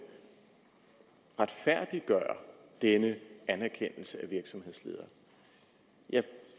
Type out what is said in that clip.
retfærdiggøre denne anerkendelse af virksomhedsledere jeg